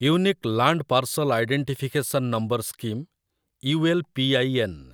unique land parcel identification number scheme , U L P I N